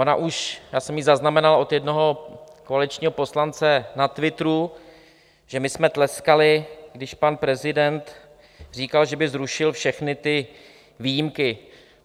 Ona už, já jsem ji zaznamenal od jednoho koaličního poslance na twitteru, že my jsme tleskali, když pan prezident říkal, že by zrušil všechny ty výjimky.